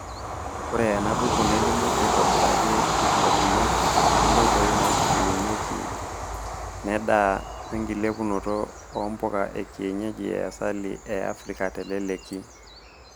Ore ena buku nelimu aitobiraki enkilepunoto oonkoitoi naitubulunyieki nedaa wenkilepunoto oo mpuka ekienyeji easili eafrika teleleki.